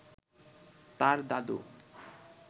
তার দাদু